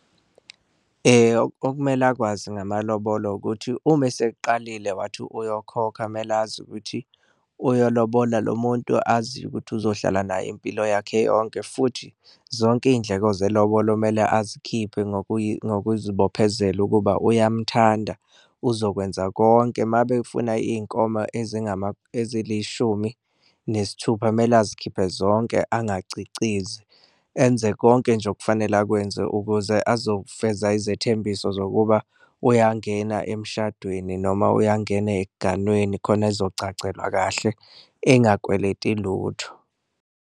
Okumele akwazi ngamalobolo ukuthi uma eseqalile wathi uyokhokha kumele azi ukuthi uyolobola lo muntu aziyo ukuthi uzohlala naye impilo yakhe yonke, futhi zonke iy'ndleko zelobolo mele azikhiphe ngokuzibophezela ukuba uyamthanda uzokwenza konke. Uma befuna iy'nkomo ezilishumi nesithupa mele azikhiphe zonke angacicizi enze konke nje okufanele akwenze, ukuze uzofeza izethembiso zokuba uyangena emshadweni noma uyangena ekuganweni khona ezogcagcelwa kahle engakweleti lutho.